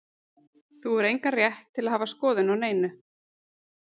Þú hefur engan rétt til að hafa skoðun á neinu.